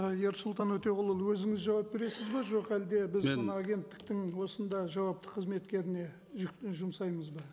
ы ерсұлтан өтеғұлұлы өзіңіз жауап бересіз бе жоқ әлде біз мен мына агенттіктің осында жауапты қызметкеріне жұмсаймыз ба